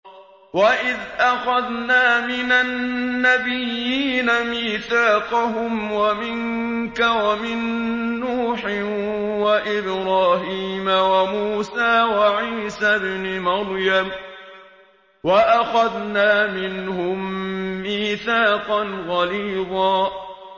وَإِذْ أَخَذْنَا مِنَ النَّبِيِّينَ مِيثَاقَهُمْ وَمِنكَ وَمِن نُّوحٍ وَإِبْرَاهِيمَ وَمُوسَىٰ وَعِيسَى ابْنِ مَرْيَمَ ۖ وَأَخَذْنَا مِنْهُم مِّيثَاقًا غَلِيظًا